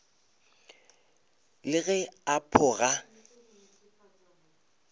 le ge a pho ga